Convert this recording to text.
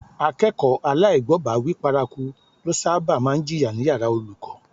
Akẹ́kọ̀ọ́ aláìgbọ́bàwíí paraku ló sábà máa ń jìyà ní yàrá olùkọ́